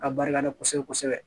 Ka barika da kosɛbɛ kosɛbɛ